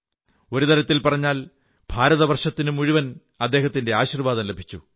ഒരു തരത്തിൽ പറഞ്ഞാൽ ഭാരതവർഷത്തിനു മുഴുവൻ അദ്ദേഹത്തിന്റെ ആശീർവ്വാദം ലഭിച്ചു